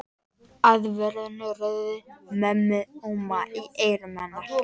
Aðvörunarorð mömmu óma í eyrum hennar.